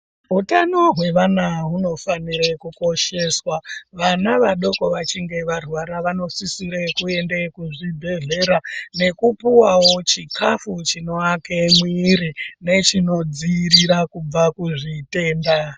Hutano hwevana hunofanire kukosheswa. Vana vadoko vachinge varwara vanosisire kuende kuzvibhedhlera nekupuwavo chikafu chinoake mwiri nechinodziirira kubva kuzvitenda.